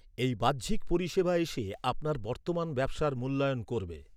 এই বাহ্যিক পরিষেবা এসে আপনার বর্তমান ব্যবসার মূল্যায়ন করবে।